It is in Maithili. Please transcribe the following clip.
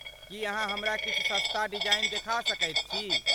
की अहाँ हमरा किछु सस्ता डिजाइन देखा सकैत छी?